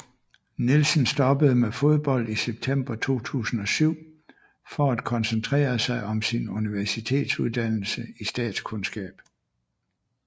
Nielsen stoppede med fodbold i september 2007 for at koncentrere sig om sin universitetsudannelse i statskundskab